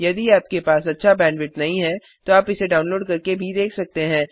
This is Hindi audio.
यदि आपके पास अच्छा बैंडविड्थ नहीं है तो आप इसे डाउनलोड करके देख सकते हैं